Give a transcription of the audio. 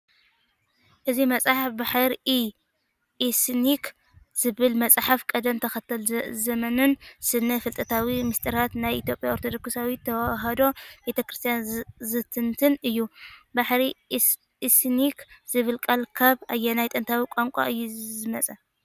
እዚ መጽሓፍ **"ባሕር-ኢ-ኢሰነክ"** ዝብል መጽሓፊ፡ ቅደም ተኸተል ዘመንን ስነ-ፍልጠታዊ ምስጢራትን ናይ ኢትዮጵያ ኦርቶዶክሳዊት ተዋህዶ ቤተክርስቲያን ዝትንትን እዩ። "ባሕረ-ኢሰነክ" ዝብል ቃል ካብ ኣየናይ ጥንታዊ ቋንቋ እዩ ዝመጸ?